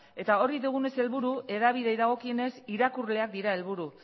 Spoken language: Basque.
eta hori dugunez helburu hedabideei dagokionez irakurleak dira helburu